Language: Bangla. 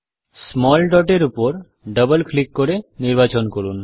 স্মল dot এর উপর ডবল ক্লিক করে নির্বাচন করুন